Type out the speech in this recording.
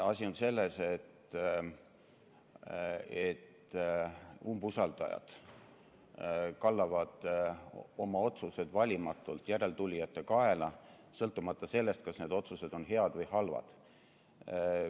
Asi on selles, et umbusaldajad kallavad oma otsused valimatult järeltulijate kaela, sõltumata sellest, kas need otsused on head või halvad.